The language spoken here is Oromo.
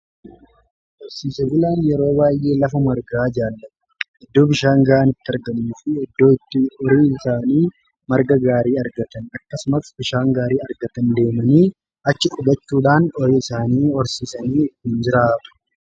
horsiise bulaan yeroo baayyee lafa margaa jaallatu iddoo bishaan gahaan itti argamuu fi iddoo itti horii isaanii marga gaarii argatan akkasumas bishaan gaarii argatan deemanii achi qubachuudhaan horii isaanii horsiisanii jiraatu.